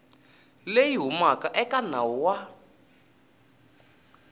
leyi humaka eka nawu wa